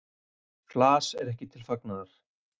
Flas er ekki til fagnaðar.